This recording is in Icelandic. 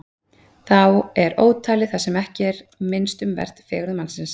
Þá er ótalið það sem ekki er minnst um vert: fegurð mannsins.